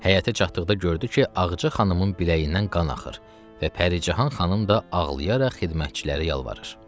Həyətə çatdıqda gördü ki, Ağca xanımın biləyindən qan axır və Pərican xanım da ağlayaraq xidmətçilərə yalvarır.